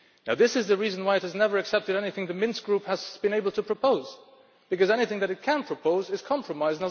This is the reason why it has never accepted anything the Minsk Group has been able to propose, because anything that it can propose is a compromise.